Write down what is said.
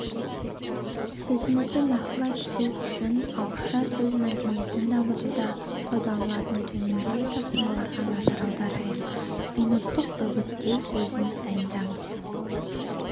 сөзімізді нақтылай түсу үшін ауызша сөз мәдениетін дамытуда қолданылатын төмендегі тапсырмаларға назар аударайық минуттық үгіттеу сөзін дайындаңыз